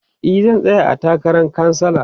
e zan tsaya a takaran kansala